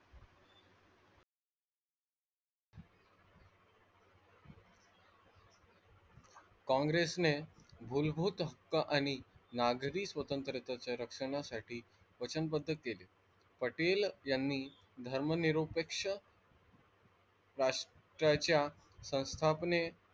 कांग्रेस ने मूलभूत हक्क आणि नागरी स्वतंत्रतेच्या रक्षणासाठी वचनबद्ध केले पटेल यांनी धर्मनिरपेक्ष राष्ट्राच्या संस्थापन,